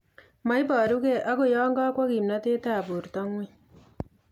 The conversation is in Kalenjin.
Moiborukei agoi yon kokwo kimnotet ab borto ng'weny